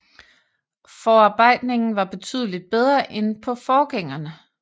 Forarbejdningen var betydeligt bedre end på forgængerne